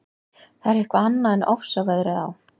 Það er eitthvað annað en ofsaveðrið á